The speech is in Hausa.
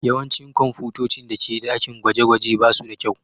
Yawancin kwamfutocin da ke dakin gwaje-gwaje ba su da kyau.